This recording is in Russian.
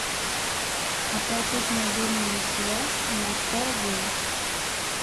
оплатить мобильную связь на сто рублей